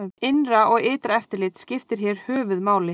Innra og ytra eftirlit skiptir hér höfuð máli.